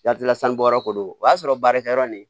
Yatila sanu bɔyɔrɔ ko don o y'a sɔrɔ baarakɛ yɔrɔ nin